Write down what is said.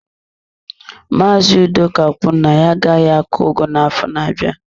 Maazị Udoka kwuru na ya agaghị akọ ugu n'afọ na-abịa.